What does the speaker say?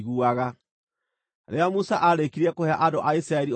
Rĩrĩa Musa aarĩkirie kũhe andũ a Isiraeli ũhoro ũcio,